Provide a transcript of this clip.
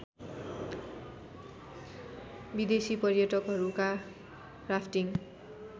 विदेसी पर्यटकहरूका राफ्टिङ्